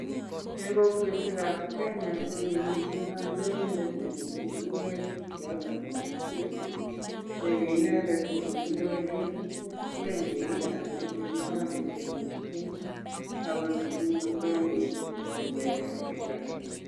En kokweshek ab Kenya kogimiten kondoindet ne kigikuren boiyotab kokwet, ne kiinendet kogiindochin kokwenyin ago kigikonyiti mising agot kingotomo koit chumbek en pitonin.